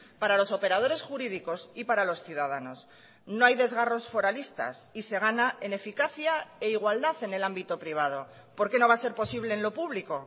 para los operadores jurídicos y para los ciudadanos no hay desgarros foralistas y se gana en eficacia e igualdad en el ámbito privado por qué no va a ser posible en lo público